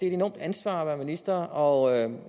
et enormt ansvar at være minister og